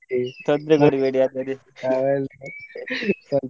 ತೊಂದ್ರೆ ಕೊಡ್ಬೇಡಿ .